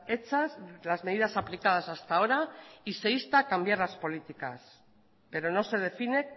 hechas las medidas aplicadas hasta ahora y se insta cambiar las políticas pero no se define